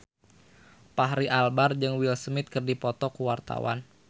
Fachri Albar jeung Will Smith keur dipoto ku wartawan